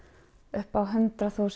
upp á hundrað þúsund